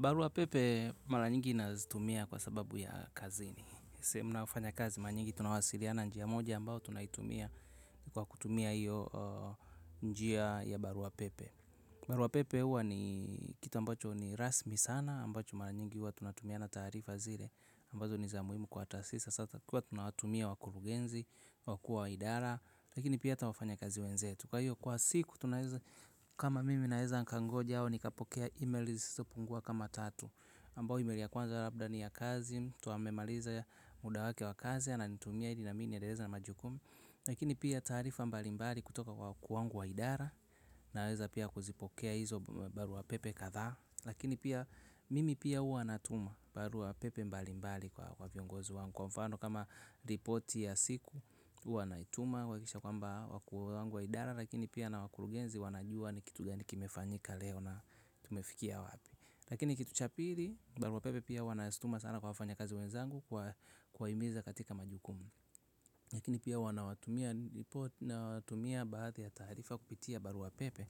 Barua pepe mara nyingi nazitumia kwa sababu ya kazini. Se mnaufanya kazi mara nyingi tunawasiliana njia moja ambao tunaitumia kwa kutumia iyo njia ya barua pepe. Barua pepe huwa ni kitu ambacho ni rasmi sana ambacho mara nyingi huwa tunatumia na taarifa zile ambazo niz muimu kwa taasis. Sasa kwa tunawatumia wakurugenzi, wakuu wa idara, lakini pia ata wafanyakazi wenzetu. Kwa iyo kwa siku, kama mimi naeza nkangoja au, nikapokea email zisizo pungua kama tatu. Ambao email ya kwanza labda ni ya kazi, mtu amemaliza muda wake wa kazi ananitumia ili na mimi niendeleza na majukumu. Lakini pia taarifa mbalimbali kutoka kwa kuu wangu wa idara, naeza pia kuzipokea hizo barua pepe kathaa. Lakini pia mimi pia huwa natuma barua pepe mbalimbali kwa viongozi wangu. Kwa mfano kama ripoti ya siku, uwa naituma, huwakisha kwamba wakuu wangu wa idara, lakini pia na wakulugenzi wanajua ni kitu gani kimefanyika leo na tumefikia wapi. Lakini kitu cha piri, barua pepe pia huwa naztuma sana kwa wafanya kazi wenzangu kuwaimiza katika majukum. Lakini pia wana watumia ripoti na watumia baadhi ya taarifa kupitia barua pepe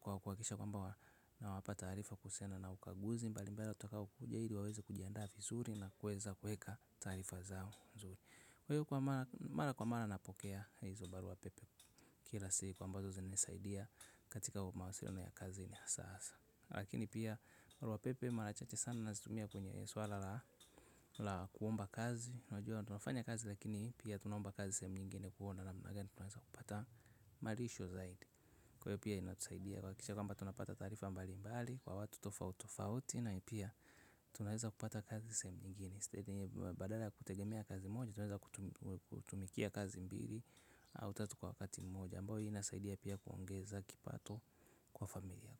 kwa kuwakisha kwamba na wapa tarifa kuhusiana na ukaguzi. Mbali mbali tutakao kujaidi waweze kujiandavi zuri na kueza kueka tarifa zao zuri. Kwa hiyo kwa mara kwa mara napokea hizobaruwa pepe kilasi kwa ambazo za nisaidia katika kwa mawasiruna ya kazi ni asasa. Lakini pia maruwa pepe marachache sana nazitumia kwenye swala la kuomba kazi Najwa na tunafanya kazi lakini pia tunomba kazi semu nyingine kuhona na mnagani tunawesa kupata marisho zaidi. Kwa hiyo pia inatusaidia kwa kisha kwamba tunapata tarifa mbali mbali kwa watu tofautofauti na ipia tunareza kupata kazi semu ngini badala ya kutegemea kazi moja tunaeza kutumikia kazi mbili au tatu kwa wakati moja ambao hii nasaidia pia kuongeza kipato kwa familia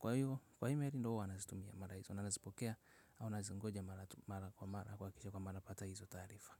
kwa hii merindohu anazitumia mara hizo anazipokea au anazingoja mara kwa mara kwa kiche kwa mara pata hizo taarifa.